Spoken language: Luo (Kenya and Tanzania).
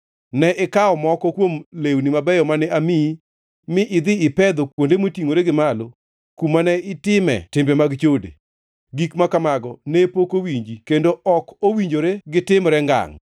Ne ikawo moko kuom lewni mabeyo mane amiyi mi idhi ipedho kuonde motingʼore gi malo, kuma ne itime timbegi mag chode. Gik ma kamago ne pok owinji, kendo ok owinjore gitimre ngangʼ.